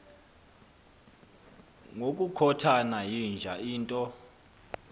ngokukhothana yinja into